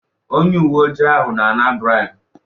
Onye uwe ojii ahụ na-ana braibu.